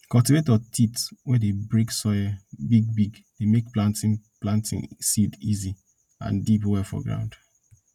cultivator teeth wey dey break soil big big dey make planting planting seed easy and deep well for ground